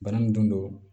Bana min don